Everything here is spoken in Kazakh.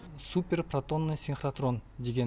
супер протонный синхротрон деген